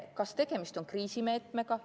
Kas tegemist on kriisimeetmega?